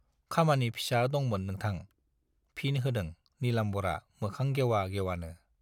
खामानि फिसा दंमोन नोंथां, फिन होदों नीलाम्बरआ मोखां गेउवा गेउवानो।